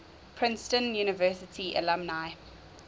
princeton university alumni